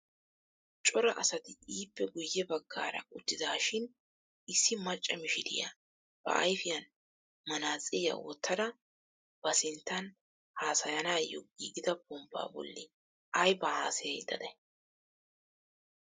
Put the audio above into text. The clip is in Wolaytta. Cora asati ippe guye baggaara uttidaashin issi macca mishiriyaa ba ayfiyaan manaatsiriyaa wottidaara ba sinttan haasayanayoo giigida ponppaa bolli aybaa haasayayda day?